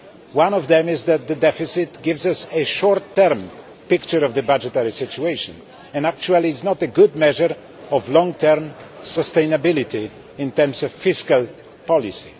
One of them is that the deficit gives us a short term picture of the budgetary situation and actually is not a good measure of long term sustainability in terms of fiscal policy.